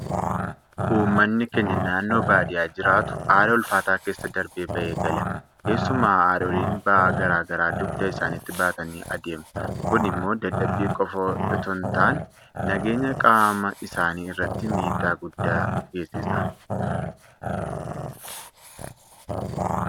Uummanni keenya naannoo baadiyyaa jiraatu haala ulfaataa keesa darbee ba'ee gala. Keessumaa haadholiin ba'aa garaa garaa dugda isaaniitti baatanii adeemu. Kun immoo dadhabbii qofa itoo hintaane nageenya qaama isaanii irratti miidhaa guddaa geessisa.